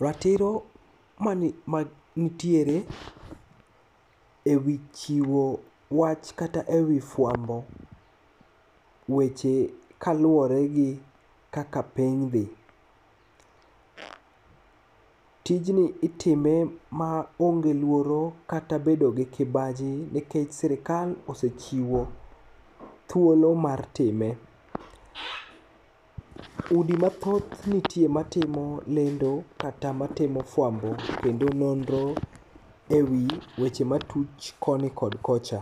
Ratiro manitiere e wii chiwo wach kata e wii fuambo weche kakaluore gi kaka piny dhi. Tijni itime maonge luoro kata bedo gi kibaji nekech sirkal osechiwo thuolo mar time. Udi mathoth nitie matimo lendo kata matimo fuambo kendo nonro e wii weche matuch koni kod kocha.